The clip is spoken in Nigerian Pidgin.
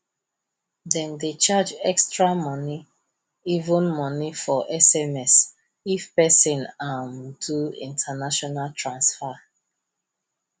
them dey charge extra money even money for sms if person um do international transfer